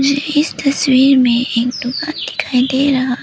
इस तस्वीर में एक दुकान दिखाई दे रहा है।